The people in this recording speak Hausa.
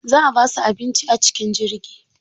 Za a basu abinci a cikin jirgi.